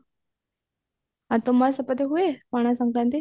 ଆଉ ତୁମ ସେପଟେ ହୁଏ ପଣା ଶଙ୍କାରାନ୍ତି